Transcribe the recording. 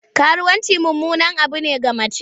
Karuwanci mummunan abu ne ga mace.